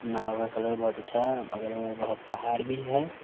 नाव का कलर बहुत अच्छा है अगल-बगल में बहुत पहाड़ भी है।